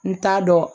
N t'a dɔn